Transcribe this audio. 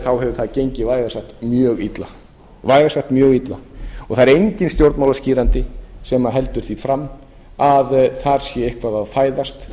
þá hefur það gengið vægast mjög illa það er enginn stjórnmálaskýrandi sem heldur því fram að þar sé eitthvað að fæðast